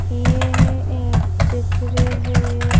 यह एक चित्र है।